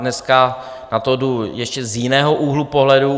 Dneska na to jdu ještě z jiného úhlu pohledu.